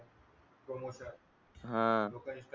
हा